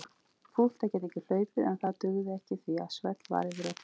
Fúlt að geta ekki hlaupið en það dugði ekki því að svell var yfir öllu.